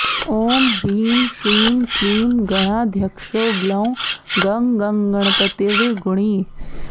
ॐ ह्रीं श्रीं क्लीं गणाध्यक्षो ग्लौं गँ गणपतिर्गुणी